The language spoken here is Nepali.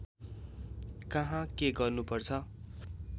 कहाँ के गर्नुपर्छ